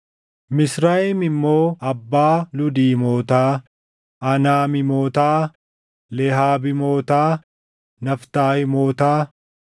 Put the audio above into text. Misrayim immoo abbaa Luudiimootaa, Anaamiimotaa, Lehaabiimotaa, Naftahiimootaa,